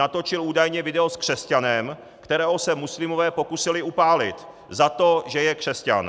Natočil údajně video s křesťanem, kterého se muslimové pokusili upálit za to, že je křesťan.